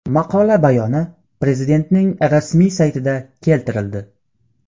Maqola bayoni Prezidentning rasmiy saytida keltirildi .